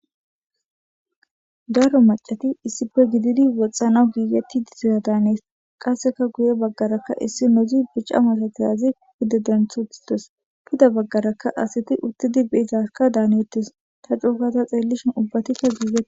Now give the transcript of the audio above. Daro macati issife gididi woxxanaw giigetti di zoya daanees qasseka guye baggaraka issi nozi bica masatiyazi gidedenthutites puda baggaraka asiti uttidi beizaska daaneettes ta cuukata xeellishin ubbatikka giigeee.